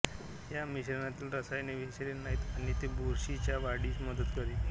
या मिश्रणातील रसायने विषारी नाहीत आणि ती बुरशीच्या वाढीस मदत करीत नाहीत